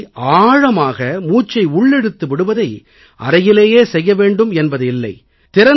இப்படி ஆழமாக மூச்சை உள்ளிழுத்து விடுவதை அறையிலேயே செய்ய வேண்டும் என்பது இல்லை